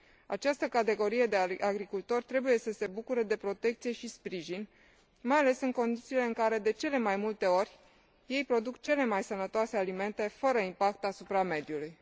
Această categorie de agricultori trebuie să se bucure de protecție și sprijin, mai ales în condițiile în care, de cele mai multe ori, ei produc cele mai sănătoase alimente, fără impact asupra mediului.